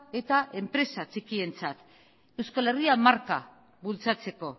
eta enpresa txikientzat euskal herria marka bultzatzeko